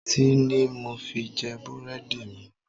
Tíì ni mo fi jẹ búrẹ́dì mi.